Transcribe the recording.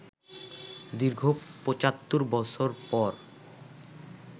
দীর্ঘ ৭৫ বছর পর